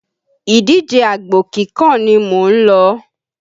Ìdíjẹ àgbò kíkàn ni mò ń lọ́.